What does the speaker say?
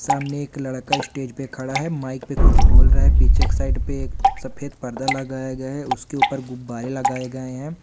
सामने एक लड़का स्टेज पे खड़ा है माइक पे कुछ बोल रहा है पीछे के साइड पे एक सफ़ेद पर्दा लगाया गया है उसके ऊपर गुब्बारे लगाए गए हैं।